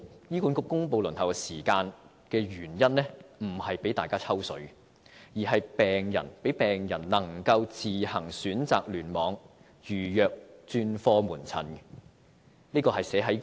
醫管局公布輪候時間的原因並非讓大家"抽水"，而是讓病人能夠自行選擇聯網，預約專科門診。